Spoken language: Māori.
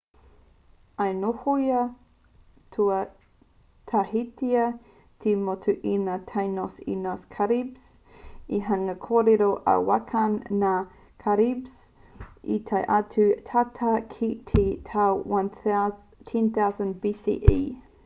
i nohoia tuatahitia te motu e ngā tainos me ngā caribes he hunga kōrero-arawakan ngā caribes i tae atu tata ki te tau 10,000 bce